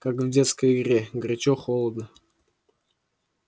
как в детской игре горячо-холодно